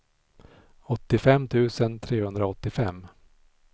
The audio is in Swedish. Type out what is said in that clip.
åttiofem tusen trehundraåttiofem